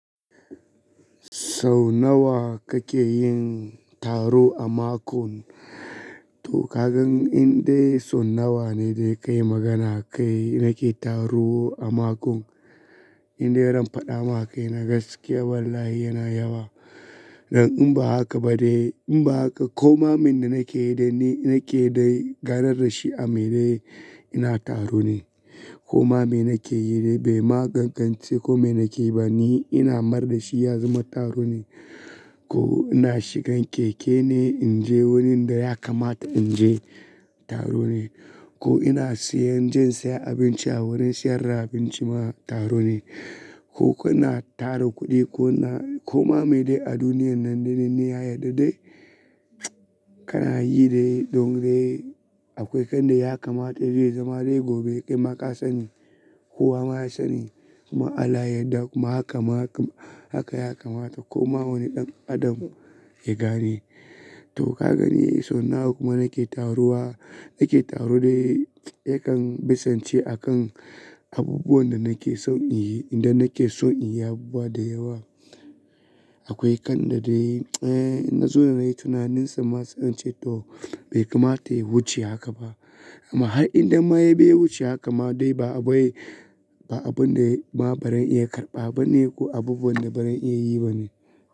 Sau nawa kake yin taro a makon? To ka gan in in dai sau nawa ne dai ka yi magana a kai nake taro a makon. In dai ran paɗa ma kaina gaskiya wallahi yana yawa. Don in ba haka ba dai in ba haka koma men da nake yi dai ni nake dai ganar da shi a mai ne ina taro ne. Koma me nake yi dai bai ma ƙanƙance komai nake yi ba ni ina mar da shi ya zama taro ne. Ko ina shigan keke ne in je wurin da ya kamata in je taro ne. Ko ina siyan jan saya abinci a wurin siyar da abinci ma taro ne. Ko kuna tara kuɗi ko na koma me dai a duniyan nan daidai ne ya yarda dai kana yi dai don dai akwai kan da ya kamata zai zama dai gobe kai ma ka sani. Kowa ma ya sani kuma in Allah ya yarda kuma haka ma kam haka ya kamata koma wani ɗan adam ya gane. To ka gani sau nawa kuma nake taruwa nake taru dai yakan bisance a kan abubuwan da nake son in yi idan nake son in yi abubuwa da yawa. Akwai kan da dai eh in na zona nayi tunaninsa ma sa in ce to bai kamata ya wuce haka ba. Amma har indan ma ya biya wuce haka ma dai ba aboye ba abun da ya ma barin iya karɓa ba ne ko abubuwan da barin iya yi ba ne.